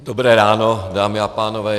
Dobré ráno, dámy a pánové.